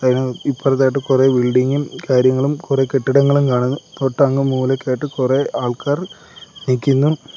ഇപ്പറത്തായിട്ട് കുറെ ബിൽഡിങ്ങും കാര്യങ്ങളും കുറെ കെട്ടിടങ്ങളും കാണുന്നു തൊട്ടങ്ങു മൂലക്കായിട്ട് കുറെ ആൾക്കാർ നിക്കുന്നു.